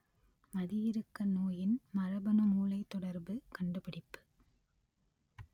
மதி இறுக்க நோயின் மரபணு மூளைத் தொடர்பு கண்டுபிடிப்பு